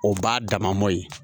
O b'a dama mɔ ye